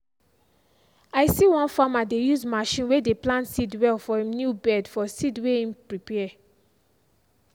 i see one farmer dey using machine way dey plant seed well for him new bed for seed way him prepare.